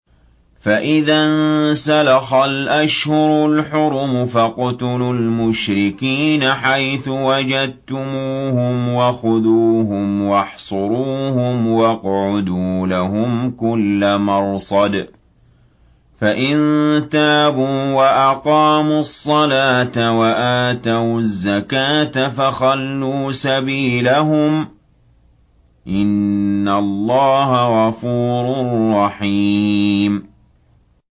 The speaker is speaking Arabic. فَإِذَا انسَلَخَ الْأَشْهُرُ الْحُرُمُ فَاقْتُلُوا الْمُشْرِكِينَ حَيْثُ وَجَدتُّمُوهُمْ وَخُذُوهُمْ وَاحْصُرُوهُمْ وَاقْعُدُوا لَهُمْ كُلَّ مَرْصَدٍ ۚ فَإِن تَابُوا وَأَقَامُوا الصَّلَاةَ وَآتَوُا الزَّكَاةَ فَخَلُّوا سَبِيلَهُمْ ۚ إِنَّ اللَّهَ غَفُورٌ رَّحِيمٌ